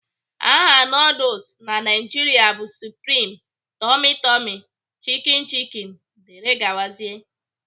Aha nuduls na Naịjiria bụ supreme, tummy tummy, Chicki Chicki dgz